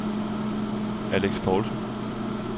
Alex Poulsen